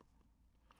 Radio 4